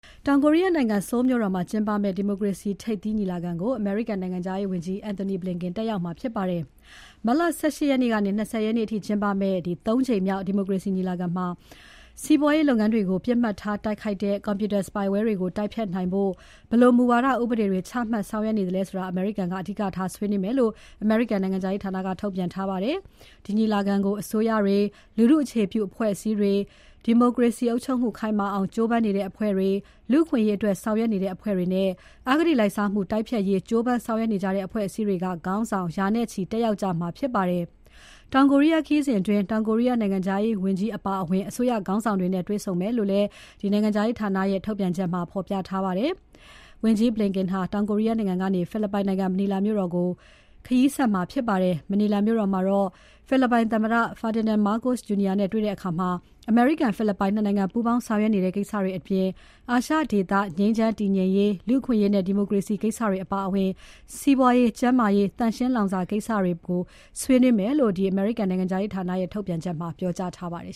တောင်ကိုရီးယားနိုင်ငံ Seoul မြို့တော်မှာ ကျင်းပမယ့် ဒီမိုကရေစီ ထိပ်သီးညီလာခံကို အမေရိကန်နိုင်ငံခြားရေးဝန်ကြီး Antony Blinken တက်ရောက်မှာဖြစ်ပါတယ်။ မတ်လ ၁၈ ရက်နေ့ကနေ ၂၀ ရက်နေ့အထိကျင်းပမယ့် ၃ ကြိမ်မြောက် ဒီမိုကရေစီညီလာခံမှာ စီးပွားရေးလုပ်ငန်းတွေကို ပစ်မှတ်ထားတိုက်ခိုက်တဲ့ Computer spyware တွေကို တိုက်ဖျက်နိုင်ဖို့ ဘယ်လိုမူဝါဒ ဥပဒေတွေချမှတ်ဆောင်ရွက်နေသလဲဆိုတာ အမေရိကန်က အဓိကထားဆွေးနွေးမယ်လို့ အမေရိကန်နိုင်ငံခြားရေးဌာနက ထုတ်ပြန်ထားပါတယ်။ ဒီညီလာခံကို အစိုးရတွေ၊ လူထုအခြေပြုအဖွဲ့အစည်းတွေ၊ ဒီမိုကရေစီအုပ်ချုပ်မှု ခိုင်မာအောင် ကြိုးပမ်းနေတဲ့ အဖွဲ့တွေ၊ လူအခွင့်အရေးအတွက်ဆောင်ရွက်နေတဲ့ အဖွဲ့တွေနဲ့ အဂတိလိုက်စားမှုတိုက်ဖျက်ရေး ကြိုးပမ်းဆောင်ရွက်နေကြတဲ့ အဖွဲ့အစည်းတွေက ခေါင်းဆောင် ရာနဲ့ချီတက်ရောက်ကြမှာဖြစ်ပါတယ်။ တောင်ကိုရီးယားခရီးစဉ်အတွင်း တောင်ကိုရီးယား နိုင်ငံခြားရေးဝန်ကြီး Cho Tae-yul အပါအဝင် အစိုးရခေါင်းဆောင်တွေနဲ့ တွေ့ဆုံမယ်လို့ နိုင်ငံခြားရေးဌာနရဲ့ ထုတ်ပြန်ချက်မှာ ဖော်ပြထားပါတယ်။ တောင်ကိုရီးယားနိုင်ငံကနေ ဖိလစ်ပိုင်နိုင်ငံ မနီလာမြို့တော်ကို ဝန်ကြီး Blinken ခရီးဆက်မှာဖြစ်ပါတယ်။ မနီလာမြို့တော်မှာ ဖိလစ်ပိုင်သမ္မတ Ferdinand Marcos Jr. နဲ့တွေ့ဆုံတဲ့အခါ အမေရိကန် ဖိလစ်ပိုင် ၂ နိုင်ငံ ပူးပေါင်းဆောင်ရွက်နေတဲ့ ကိစ္စတွေအပြင် အာရှဒေသ ငြိမ်းချမ်းတည်ငြိမ်ရေး၊ လူ့အခွင့်အရေးနဲ့ ဒီမိုကရေစီကိစ္စတွေအပါအဝင် စီးပွားရေး၊ ကျန်းမာရေး သန့်ရှင်းလောင်စာကိစ္စတွေ ပါဝင်မယ်လို့ နိုင်ငံခြားရေးဌာနရဲ့ ထုတ်ပြန်ချက်မှာ ပြောကြားထားပါတယ်